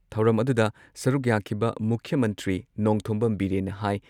ꯊꯧꯔꯝ ꯑꯗꯨꯗ ꯁꯔꯨꯛ ꯌꯥꯈꯤꯕ ꯃꯨꯈ꯭ꯌ ꯃꯟꯇ꯭ꯔꯤ ꯅꯣꯡꯊꯣꯝꯕꯝ ꯕꯤꯔꯦꯟꯅ ꯍꯥꯏ